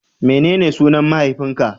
Menene sunan mahaifin ka?